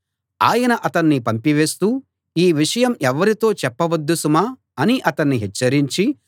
ఆయన అతన్ని పంపివేస్తూ ఈ విషయం ఎవ్వరితో చెప్పవద్దు సుమా అని అతన్ని హెచ్చరించి